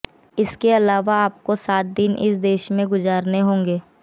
इसके अलावा आपको सात दिन इस देश में गुजारने होंगे